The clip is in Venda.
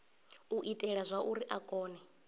u itela zwauri a kone